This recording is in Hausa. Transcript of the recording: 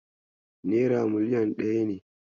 Nera million ɗaya ne.